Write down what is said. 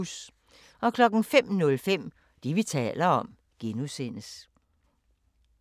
05:05: Det, vi taler om (G)